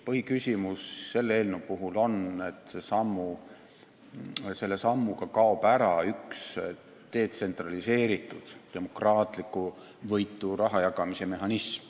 Põhiküsimus selle eelnõu puhul on see, et selle sammuga kaob ära üks detsentraliseeritud ja demokraatlikuvõitu raha jagamise mehhanism.